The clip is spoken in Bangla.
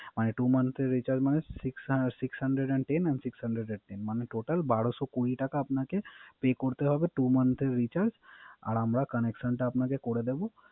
Two motht এর Recharge মানে Six hundred and ten and six hundred and ten মানে টোটাল বারোশত কুরি টাকা আপনাকে Pay করতে হবে Two month এর Recharge আর আমরা connection টা আপনাকে করে দিব